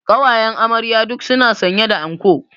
Ƙawayen amarya duk su na sanye da anko